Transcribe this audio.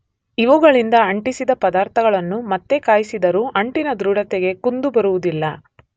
ಇವುಗಳಿಂದ ಅಂಟಿಸಿದ ಪದಾರ್ಥಗಳನ್ನು ಮತ್ತೆ ಕಾಯಿಸಿದರೂ ಅಂಟಿನ ದೃಢತೆಗೆ ಕುಂದು ಬರುವುದಿಲ್ಲ